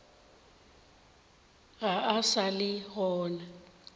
ga a sa le gona